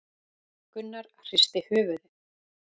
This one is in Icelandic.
Gunnar hristi höfuðið.